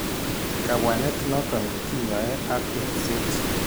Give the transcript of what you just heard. Kabwanet noton kinyae ak engset